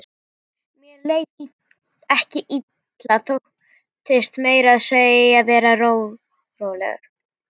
Mér leið ekki illa, þóttist meira að segja vera rólegur.